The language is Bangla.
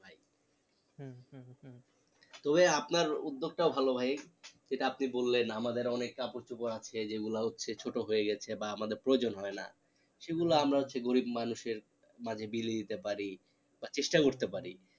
তবে আপনার উদ্যোগ তাও ভালো ভাই যেটা আপনি বললেন আমাদের অনেক কাপড় চোপড় আছে যে গুলো হচ্ছে ছোট হয়ে গেছে বা আমাদের প্রয়োজন হয় না সেগুলো আমরা হচ্ছে গরিব মানুষের মাঝে বিলিয়ে দিতে পারি বা চেষ্টা করতে পারি